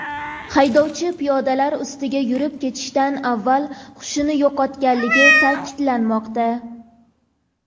Haydovchi piyodalar ustiga yurib ketishdan avval hushini yo‘qotganligi ta’kidlanmoqda.